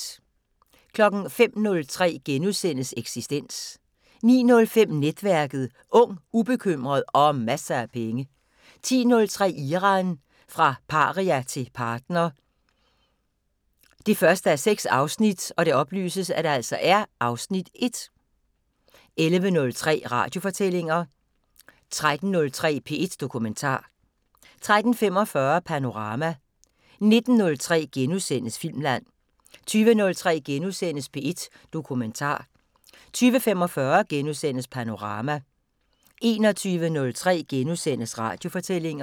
05:03: Eksistens * 09:05: Netværket: Ung, ubekymret og masser af penge 10:03: Iran – fra paria til partner 1:6 (Afs. 1) 11:03: Radiofortællinger 13:03: P1 Dokumentar 13:45: Panorama 19:03: Filmland * 20:03: P1 Dokumentar * 20:45: Panorama * 21:03: Radiofortællinger *